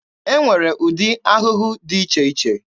E nwere ụdị ahụhụ dị iche iche.